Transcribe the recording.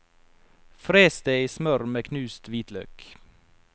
Fres det i smør med knust hvitløk.